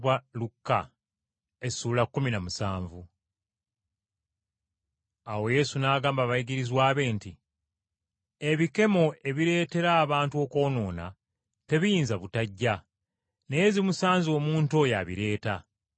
Awo Yesu n’agamba abayigirizwa be nti, “Ebikemo ebireetera abantu okwonoona tebiyinza butajja, naye zimusanze omuntu oyo abireeta.